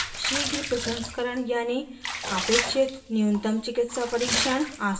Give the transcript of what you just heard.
शीघ्र प्रसंस्करण यानि अपेक्षित न्यूनतम चिकित्सा परिक्षण